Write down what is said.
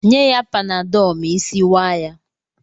Nye ya panadọọlụ ma isi waa ya!